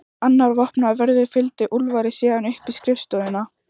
Annar vopnaður vörður fylgdi Úlfari síðan upp í skrifstofuna.